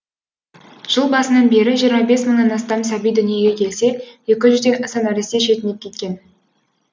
жыл басынан бері жиырма бес мыңнан астам сәби дүниеге келсе екі жүзден аса нәресте шетінеп кеткен